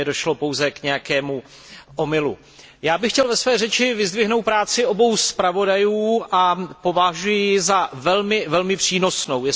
Zřejmě došlo pouze k nějakému omylu. Já bych chtěl ve své řeči vyzdvihnout práci obou zpravodajů a považuji ji za velmi přínosnou.